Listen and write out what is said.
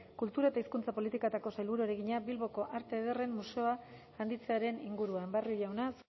kultura eta hizkuntza politikako sailburuari egina bilboko arte ederren museoa handitzearen inguruan barrio jauna